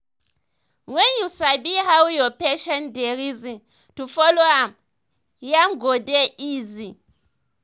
when you sabi how your patient dey reason to follow am yarn go dey easy.